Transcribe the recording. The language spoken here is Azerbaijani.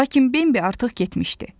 Lakin Bambi artıq getmişdi.